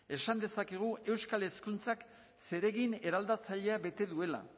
esan dezakegu euskal hezkuntzak zeregin eraldatzailea bete duela